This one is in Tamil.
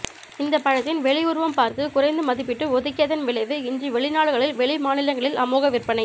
இந்த பழத்தின் வெளி உருவம் பார்த்து குறைத்து மதிப்பிட்டு ஒதுக்கியதின் விளைவு இன்று வெளிநாடுகளில் வெளி மாநிலங்களில் அமோக விற்பனை